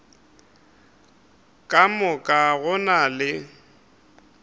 ka moka go na le